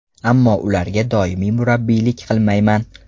Ammo ularga doimiy murabbiylik qilmayman.